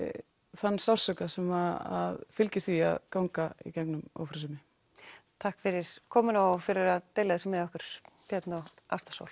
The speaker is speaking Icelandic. þann sársauka sem fylgir því að ganga í gegnum ófrjósemi takk fyrir komuna og fyrir að deila þessu með okkur Björn og Ásta Sól